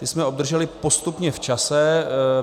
Ty jsme obdrželi postupně v čase.